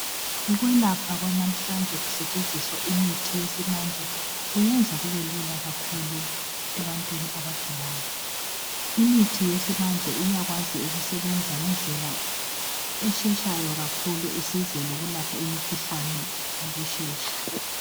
Ukwelapha kwanamhlanje kusetshenziswa imithi yesimanje kuyenza kube lula kakhulu ebantwini abagulayo, imithi yesimanje iyakwazi ukusebenza ngendlela esheshayo kakhulu isize lokulapha imikhuhlane ngokushesha